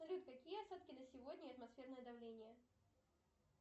салют какие осадки на сегодня и атмосферное давление